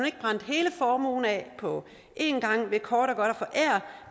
ikke brændte hele formuen af på én gang ved kort og godt at forære